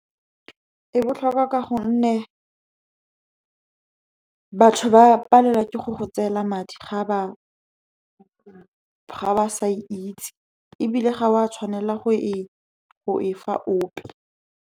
E botlhokwa ka gonne batho ba palelwa ke go go tseela madi ga ba sa e itse, ebile ga o a tshwanela go e fa ope.